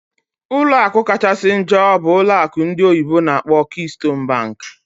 Ọlụ akụ kachasị njọ bụ ụlọ akụ ndị oyibo n'akpọ "Keystone bank"